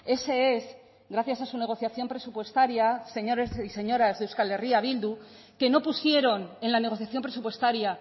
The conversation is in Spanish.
ese es gracias a su negociación presupuestaria señores y señoras de euskal herria bildu que no pusieron en la negociación presupuestaria